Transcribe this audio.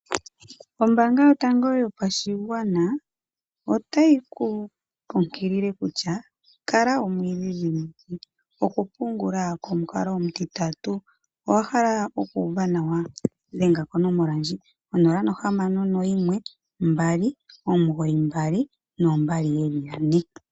Ombanga yotango yopadhigwana otayi kukunkilile kutya kala omuidhidhimiki. Okupungula komukalo omutitatu owahala okuuva nawa? Dhenga konomola ndji 0612992222.